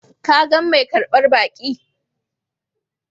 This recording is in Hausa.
Ka gan mai karbar baki?